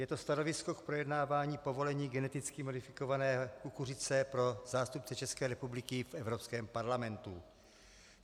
Je to stanovisko k projednávání povolení geneticky modifikované kukuřice pro zástupce České republiky v Evropském parlamentu.